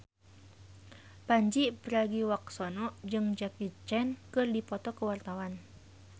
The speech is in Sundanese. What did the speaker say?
Pandji Pragiwaksono jeung Jackie Chan keur dipoto ku wartawan